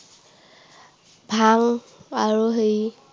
ভাং আৰু হেৰি